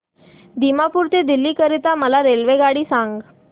दिमापूर ते दिल्ली करीता मला रेल्वेगाडी सांगा